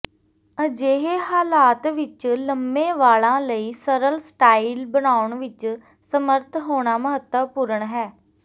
ਅਜਿਹੇ ਹਾਲਾਤ ਵਿੱਚ ਲੰਮੇ ਵਾਲਾਂ ਲਈ ਸਰਲ ਸਟਾਈਲ ਬਣਾਉਣ ਵਿੱਚ ਸਮਰੱਥ ਹੋਣਾ ਮਹੱਤਵਪੂਰਨ ਹੈ